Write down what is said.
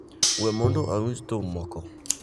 we mondo awinj thum moko